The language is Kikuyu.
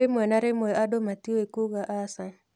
Rĩmwe na rĩmwe andũ matiũĩ kuuga aca.